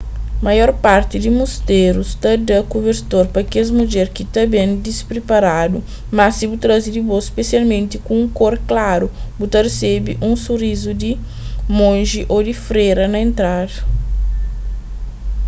maior parti di musterus ta da kubertor pa kes mudjer ki ta ben dispriparadu mas si bu traze di bo spesialmenti ku un kor klaru bu ta resebe un surizu di monji ô di fréra na entrada